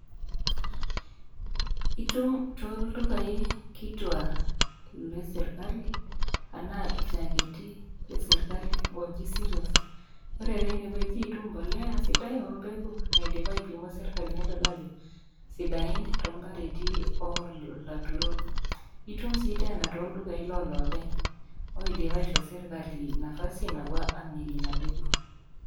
itum tooldukai kituak le sirkali anaa ilchaketi le sirkali oji cereals. Ore teineweji itum impolea sidai naipimo sirkali nedol ajo sidain too mpareti oo laturok. Itum sii tooldukai loo loopeny oidipa aishoo sirkali nafasi napuo amirie ina pegu.